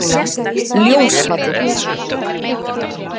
Ljósvallagötu